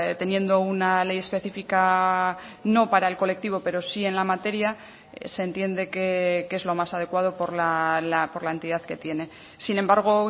teniendo una ley específica no para el colectivo pero sí en la materia se entiende que es lo más adecuado por la entidad que tiene sin embargo